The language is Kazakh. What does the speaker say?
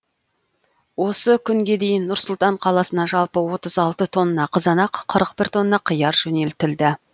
осы күнге дейін нұр сұлтан қаласына жалпы отыз алты тонна қызанақ қырық бір тонна қияр жөнелтілді